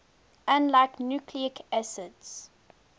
unlike nucleic acids